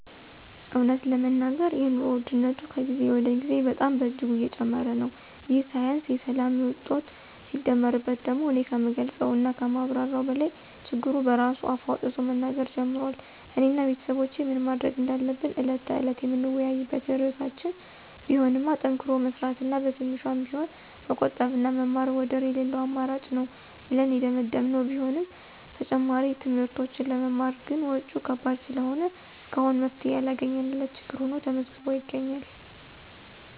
እውነት ለመናገር የኑሮ ውድነቱ ከጊዜ ወደ ጊዜ በጣም በእጅጉ እየጨመረ ነው፤ ይህ ሳያንስ የሰላም እጦቱ ሲደመርበት ደግሞ እኔ ከምገልፀው እና ከማብራራው በላይ ችግሩ በራሱ አፍ አውጥቶ መናገር ጀምሯል። እኔ እና ቤተሰቦቼ ምን ማድረግ እንዳለብን ዕለት ተዕለት የምንወያይበት ርዕሳችን ቢሆንማ ጠንክሮ መስራት እና በትንሿም ቢሆን መቆጠብና መማር ወደር የለለው አማራጭ ነው ብለን የደመደመን ቢሆንም ተጨማሪ ትምህርቶችን ለመማር ግን ወጭው ከባድ ስለሆነ እስካሁን መፍትሔ ያላገኘንለት ችግር ሁኖ ተመዝግቦ ይገኛል።